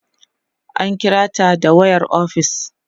an kirata da wayar ofis